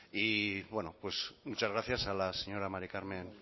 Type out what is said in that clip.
muchas gracias a la señora mari carmen